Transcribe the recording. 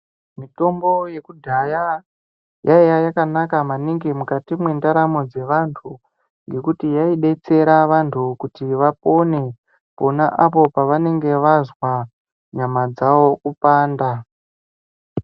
Mitombo yekudhaya yaiya yakanaka maningi mukati mendaramo dzevantu. Ngekuti yaibetsera vantu kuti vapone pona apo pavanenge vazwa nyama dzavo kupanda.